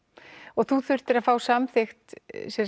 og þú þurftir að fá samþykkt